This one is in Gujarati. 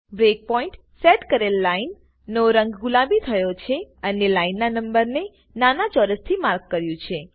બ્રેક પોઈન્ટ સેટ કરેલ લાઈન નો રંગ ગુલાબી થયો છેઅને લાઈન ના નંબરને નાના ચોરસ થી માર્ક કર્યું છે